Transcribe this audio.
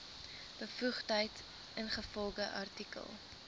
bevoegdheid ingevolge artikel